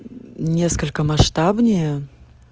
несколько масштабнее